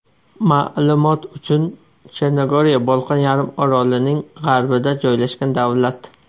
Ma’lumot uchun, Chernogoriya Bolqon yarim orolining g‘arbida joylashgan davlat.